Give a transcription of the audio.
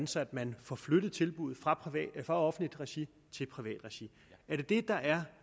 så man får flyttet tilbuddene fra offentligt regi til privat regi er det det der er